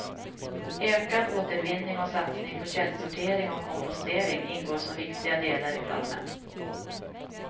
Ökad återvinning och satsning på källsortering och kompostering ingår som viktiga delar i planen.